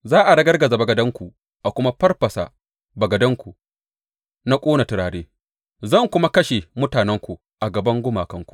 Za a ragargaza bagadanku a kuma farfasa bagadanku na ƙone turare; zan kuma kashe mutanenku a gaban gumakanku.